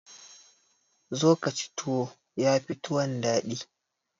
Zo ka ci tuwo, ya fi tuwon daɗi.